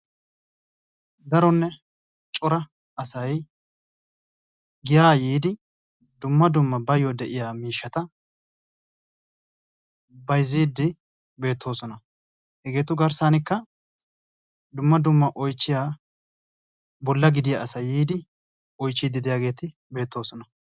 daronne cora asay giyaa yiidi dumma dumma baayo de'iyaamiishshata bayzziidi beettoosna. hegeetu garssanikka dumma dumma oychchiyaa bolla gidiyaa asati oychchiidi beettoosona.